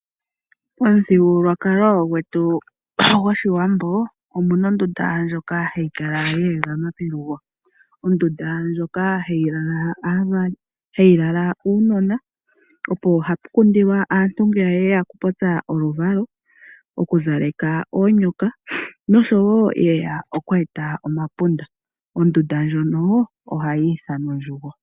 Omuthigululwakalo gwetu goshiwambo, omu na ondunda ndjoka hayi kala ye egama pelugo. Ondunda ndjoka hayi kala aavali, hayi lala uunona, opo hapu kundilwa aantu ngele ye ya oku popya oluvalo, oku zaleka oonyoka noshowo yeya okweeta omapunda. Ondunda ndjono ohayi ithanwa "Ondjugo".